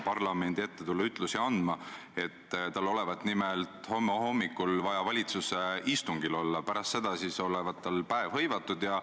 Ja väga hea meel on selle üle, et julgeolekuküsimuste osas, olgu see NATO või olgu see Euroopa Liit, on kasvanud usaldus ka venekeelsete inimeste hulgas.